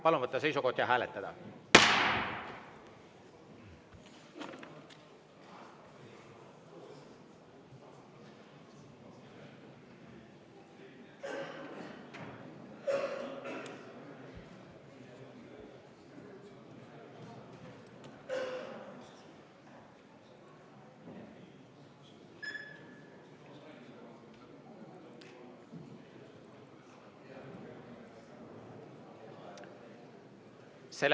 Palun võtta seisukoht ja hääletada!